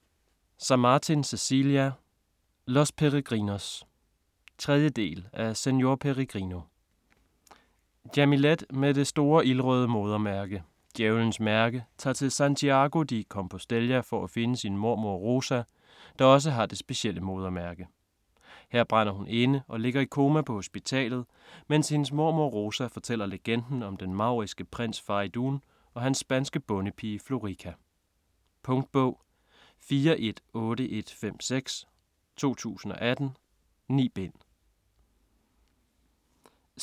Samartin, Cecilia: Los Peregrinos 3. del af Señor Peregrino. Jamilet med det store ildrøde modermærke, 'Djævlens mærke', tager til Santiago de Compostela for at finde sin mormor Rosa, der også har det specielle modermærke. Her brænder hun inde, og ligger i koma på hospitalet, mens hendes mormor Rosa fortæller legenden om den mauriske prins Faridoon og den spanske bondepige Florica. Punktbog 418156 2018. 9 bind.